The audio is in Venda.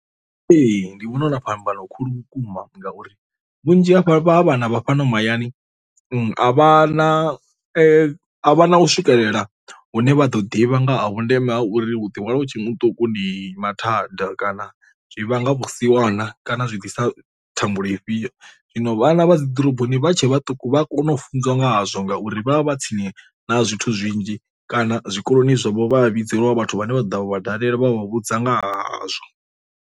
Ee ndi vhona huna phambano khulwane vhukuma ngauri vhunzhi ha vhana vha fhano mahayani a vha na a vha na u swikelela hune vha ḓo ḓivha nga ha vhundeme ha uri hu ḓihwala hu tshe muṱuku ndi mathada, kana zwi vhanga vhusiwana kana zwi ḓisa thambulo ifhio. Zwino vhana vha dzi ḓoroboni vha tshe vhaṱuku vha a kona u funzwa nga hazwo ngauri vha vha vha tsini na zwithu zwinzhi kana zwikoloni zwavho vha a vhidzeliwa vhathu vhane vha dovha vha dalela vha vhudza nga hazwo.